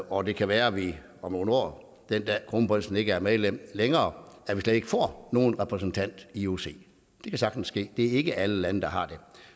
og det kan være at vi om nogle år den dag kronprinsen ikke er medlem længere slet ikke får nogen repræsentant i ioc det kan sagtens ske det er ikke alle lande der har det